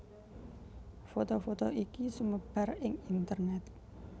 Foto foto iki sumebar ing internèt